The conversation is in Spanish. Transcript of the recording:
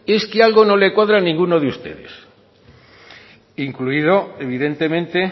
es que algo no le cuadra a ninguno de ustedes incluido evidentemente